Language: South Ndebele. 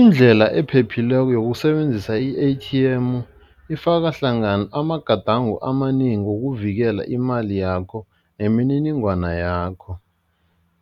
Indlela ephephileko yokusebenzisa i-A_T_M ifaka hlangana amagadango amanengi wokuvikela imali yakho nemininingwana yakho,